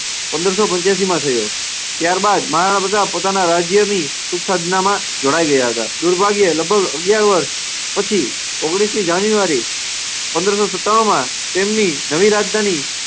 પંદર સો પંચ્યાસીમાં થયો. ત્યાર બાદ મહારાણા પ્રતાપ પોતાના રાજ્યની સુખ સાધનામાં જોડાઈ ગયા હતા. દુર્ભાગ્યે લગભગ અગ્યાર વર્ષ પછી ઓગણીસમી જાન્યુઆરી પંદર સો સત્તાણુંમાં તેમની નવી રાજધાની